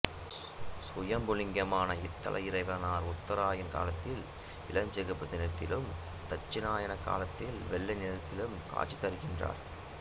சுயம்புலிங்கமான இத்தல இறைவனார் உத்தராயண காலத்தில் இளம் சிகப்பு நிறத்திலும் தட்சிணாயன காலத்தில் வெள்ளை நிறத்திலும் காட்சிதருகின்றார்